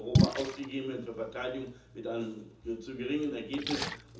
Euro in Europa ausgegeben werden für Verteidigung mit einem zu geringen Ergebnis.